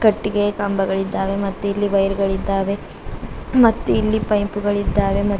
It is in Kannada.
ಕಟ್ಟಿಗೆ ಕಂಬಗಳಿದ್ದಾವೆ ಮತ್ತು ಇಲ್ಲಿ ವೈರ್ ಗಳಿದ್ದಾವೆ ಮತ್ತು ಇಲ್ಲಿ ಪೈಪ್ ಗಳು ಇದಾವೆ ಮತ್--